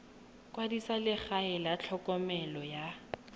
kwadisa legae la tlhokomelo ya